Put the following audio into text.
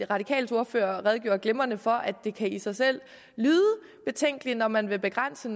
radikales ordfører redegjorde glimrende for det kan i sig selv lyde betænkeligt når man vil begrænse